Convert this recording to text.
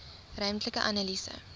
ruimtelike analise